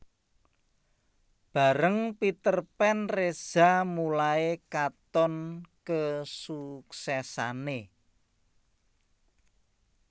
Bareng Peterpan Reza mulai katon kesuksesané